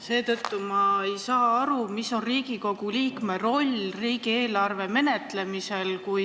Seetõttu ma ei saa aru, mis on Riigikogu liikme roll riigieelarve menetlemisel.